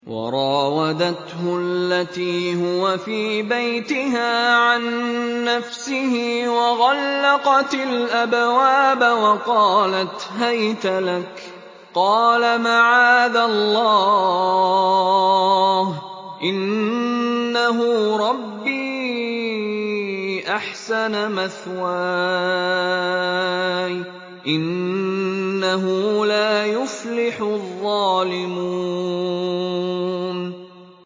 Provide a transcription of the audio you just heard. وَرَاوَدَتْهُ الَّتِي هُوَ فِي بَيْتِهَا عَن نَّفْسِهِ وَغَلَّقَتِ الْأَبْوَابَ وَقَالَتْ هَيْتَ لَكَ ۚ قَالَ مَعَاذَ اللَّهِ ۖ إِنَّهُ رَبِّي أَحْسَنَ مَثْوَايَ ۖ إِنَّهُ لَا يُفْلِحُ الظَّالِمُونَ